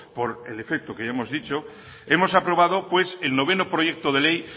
por el efecto que ya hemos dicho hemos aprobado pues el noveno proyecto de ley